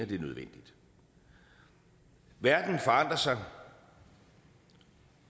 det er nødvendigt verden forandrer sig